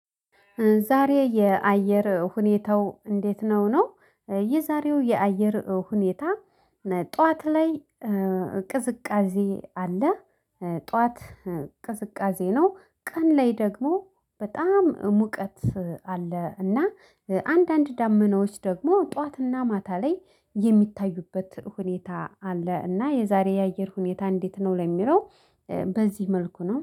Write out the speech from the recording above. ዛሬ የአየር ሁኔታው እንዴት ነው? ነው የዛሬው የአየር ሁኔታ ጠዋት ላይ ቅዝቃዜ አለ። ጠዋት ቅዝቃዜ ነው ቀን ላይ ደግሞ በጣም ሙቀት አለ እና አንዳንድ ዳመናዎች ደግሞ ጠዋትና ማታ ላይ የሚታዩበት ሁኔታ አለ። እና የዛሬ የአየር ሁኔታ እንዴት ነው? ለሚለው በዚህ መልኩ ነው